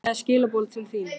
Ég er með skilaboð til þín.